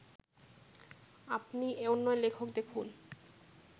আপনি অন্য লেখক দেখুন'